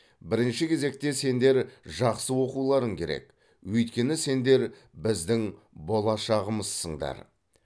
бірінші кезекте сендер жақсы оқуларың керек өйткені сендер біздің болашағымызсыңдар